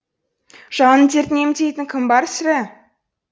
жанның дертін емдейтін кім бар сірә